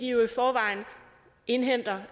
jo i forvejen indhenter